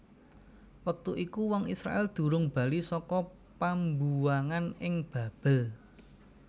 Wektu iku wong Israèl durung bali saka pambuwangan ing Babel